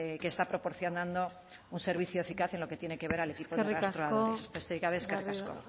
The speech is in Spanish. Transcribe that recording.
que está proporcionando un servicio eficaz en lo que tiene que ver al equipo eskerrik asko de rastreadores besterik gabe eskerrik asko